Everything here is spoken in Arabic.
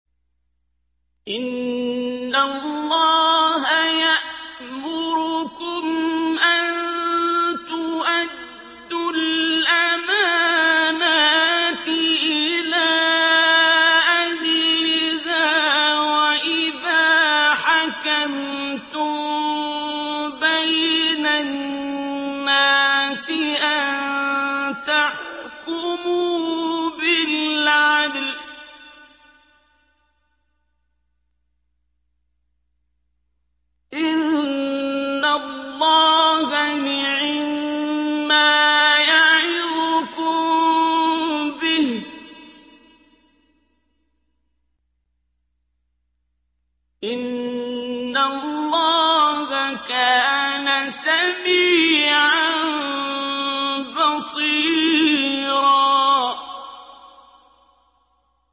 ۞ إِنَّ اللَّهَ يَأْمُرُكُمْ أَن تُؤَدُّوا الْأَمَانَاتِ إِلَىٰ أَهْلِهَا وَإِذَا حَكَمْتُم بَيْنَ النَّاسِ أَن تَحْكُمُوا بِالْعَدْلِ ۚ إِنَّ اللَّهَ نِعِمَّا يَعِظُكُم بِهِ ۗ إِنَّ اللَّهَ كَانَ سَمِيعًا بَصِيرًا